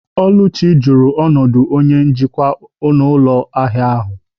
Oluchi jụrụ ọnọdụ onye njikwa n'ụlọ ahịa ahịa.